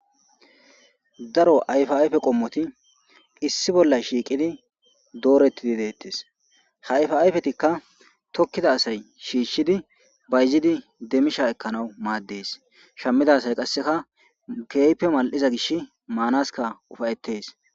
daro ayfa ayfe qommoti issi bolla shiiqidi doorettidi deettes hayfa ayfetikka tokkida asay shiishshidi bayzidi demmisha ekkanawu maaddees shammida asay qasseka keype mal7iza gish maanaska ufayetes